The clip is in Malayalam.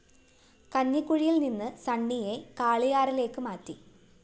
കഞ്ഞിക്കുഴിയില്‍ നിന്ന് സണ്ണിയെ കാളിയാറിലേക്ക് മാറ്റി